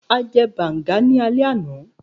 A jẹ banga ni alẹ ana